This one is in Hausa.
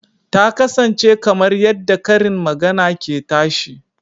Ta kasance kamar yadda karin magana ke tashi